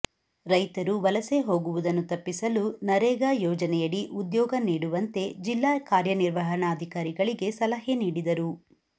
ರೈತರು ವಲಸೆ ಹೋಗುವುದನ್ನು ತಪ್ಪಿಸಲು ನರೇಗಾ ಯೋಜನೆಯಡಿ ಉದ್ಯೋಗ ನೀಡುವಂತೆ ಜಿಲ್ಲಾ ಕಾರ್ಯನಿರ್ವಹಣಾಧಿಕಾರಿಗಳಿಗೆ ಸಲಹೆ ನೀಡಿದರು